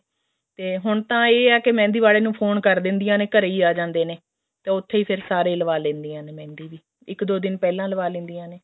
ਹੁਣ ਤਾਂ ਇਹ ਹੈ ਕੇ ਮਹਿੰਦੀ ਵਾਲੇ ਨੂੰ phone ਕਰ ਦਿੰਦਿਆਂ ਨੇ ਘਰੇ ਹੀ ਆ ਜਾਂਦੇ ਨੇ ਤਾਂ ਉੱਤੇਹ ਹੀ ਫ਼ੇਰ ਸਾਰੇ ਲਵਾ ਲੈਂਦੀਆਂ ਨੇ ਫ਼ੇਰ ਮਹਿੰਦੀ ਵੀ ਇੱਕ ਦੋ ਦਿਨ ਪਹਿਲਾਂ ਲਵਾ ਲੈਂਦੀਆਂ ਨੇ